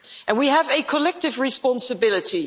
We have a collective responsibility.